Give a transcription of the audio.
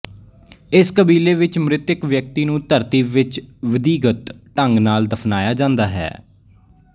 ਇਸ ਕਬੀਲੇ ਵਿੱਚ ਮ੍ਰਿਤਕ ਵਿਅਕਤੀ ਨੂੰ ਧਰਤੀ ਵਿੱਚ ਵੀਧੀਗਤ ਢੰਗ ਨਾਲ ਦਫਨਾਇਆ ਜਾਂਦਾ ਹੈ